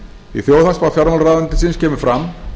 í þjóðhagsspá fjármálaráðuneytisins kemur fram